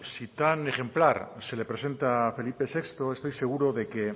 si tan ejemplar se le presenta a felipe sexto estoy seguro de que